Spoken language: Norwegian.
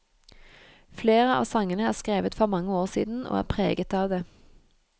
Flere av sangene er skrevet for mange år siden, og er preget av det.